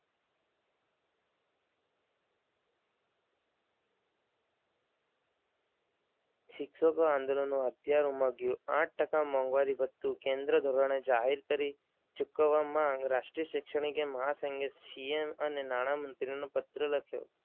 શિક્ષકો આંદોલનો હથિયાર ઉમદ્યુ આઠ ટકા મોંઘવારી ભથ્થું કેન્દ્ર ધોરણે જાહેર કરી ચૂકવવામાં રાષ્ટ્રીય શૈક્ષણિક એ મહા સંગે સીએમ અને નાણામંત્રીને પત્ર લખ્યો.